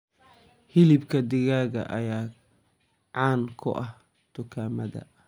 Hilibka digaaga ayaa caan ku ah dukaamada.